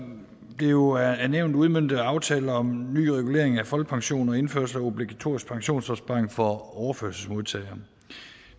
det jo er nævnt udmøntet af aftale om ny regulering af folkepension og indførelse af obligatorisk pensionsopsparing for overførselsmodtagere